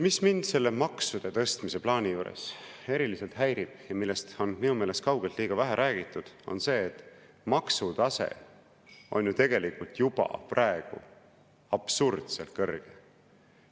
Mis mind selle maksude tõstmise plaani juures eriliselt häirib ja millest on minu meelest kaugelt liiga vähe räägitud, on see, et maksutase on juba praegu absurdselt kõrge.